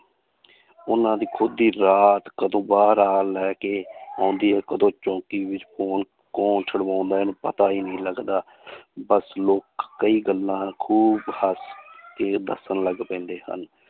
ਉਹਨਾਂ ਦੀ ਖੁੱਦ ਦੀ ਔਲਾਦ ਕਦੋਂ ਬਾਹਰ ਆ ਲੈ ਕੇ ਆਉਂਦੀ ਹੈ ਕਦੋਂ ਚੌਂਕੀ ਵਿੱਚ ਕੌਣ ਕੌਣ ਛੁਡਵਾਉਂਦਾ ਹੈ ਪਤਾ ਹੀ ਨੀ ਲੱਗਦਾ ਬਸ ਲੋਕ ਕਈ ਗੱਲਾਂ ਖੂਬ ਹੱਸ ਕੇ ਦੱਸਣ ਲੱਗ ਪੈਂਦੇ ਹਨ